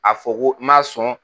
A fɔ ko ma sɔn